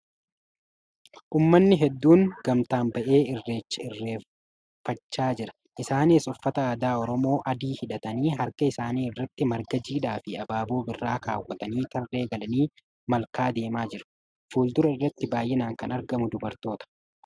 Uummannai hedduun gamtaan ba'ee Irreecha irreeffachaa jira. Isaaniis Uffata aadaa Oromoo adii hidhatanii harka isaanii irratti margaa jiidhaa fi abaaboo birraa keewwatanii tarree galanii malkaa deemaa jiru. Fuuldura irratti baay'inaan kan argamu dubartoota.